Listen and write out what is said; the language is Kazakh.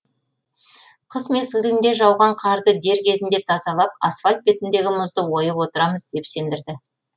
қыс мезгілінде жауған қарды дер кезінде тазалап асфальт бетіндегі мұзды ойып отырамыз деп сендірді